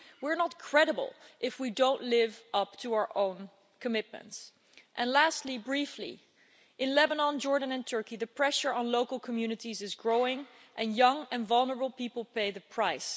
We are not credible if we don't live up to our own commitments. And lastly, briefly, in Lebanon, Jordan and Turkey, the pressure on local communities is growing and young and vulnerable people pay the price.